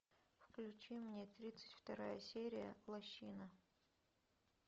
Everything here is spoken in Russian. включи мне тридцать вторая серия лощина